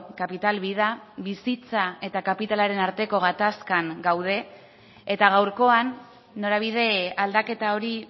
capital vida bizitza eta kapitalaren arteko gatazkan gaude eta gaurkoan norabide aldaketa hori